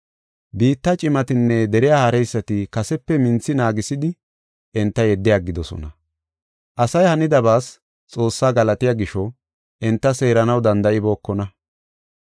Biitta cimatinne deriya haareysati kasepe minthi naagisidi enta yeddi aggidosona. Asay hanidabaas Xoossaa galatiya gisho enta seeranaw danda7ibookona.